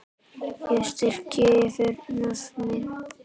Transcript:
Ég strika yfir nöfnin.